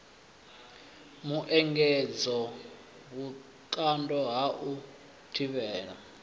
muengedzo vhukando ha u thivhela